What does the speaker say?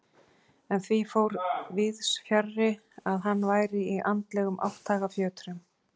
En því fór víðs fjarri að hann væri í andlegum átthagafjötrum.